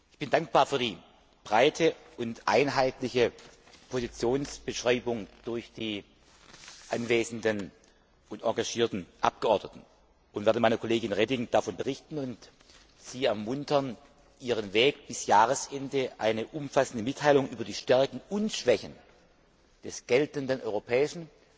Ich bin dankbar für die breite und einheitliche Positionsbeschreibung durch die anwesenden und engagierten Abgeordneten und werde meiner Kollegin Reding darüber berichten und sie ermuntern, bis Jahresende eine umfassende Mitteilung über die Stärken und Schwächen des geltenden europäischen